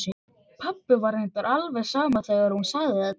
Pabba var reyndar alveg sama þegar hún sagði þetta.